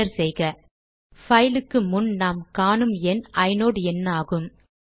enter செய்க பைலுக்கு முன் நாம் காணும் எண் ஐநோட் எண்ணாகும்